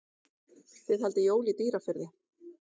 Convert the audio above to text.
Þið haldið jól í Dýrafirði.